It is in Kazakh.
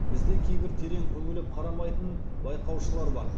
бізде кейбір терең үңіліп қарамайтын байқаушылар бар